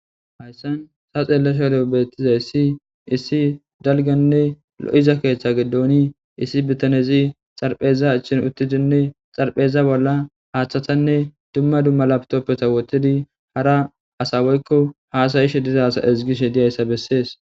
Haysan ta xelashedo betizaysi issi daliganne lo'iza ketha gidoni issi bitanezi dharapheza achin utidinne dharapheza bola hathatanne duma duma laptopeta wotidi hara asa woyko hasa'ishe diza asa ezigishe dizaysa beses.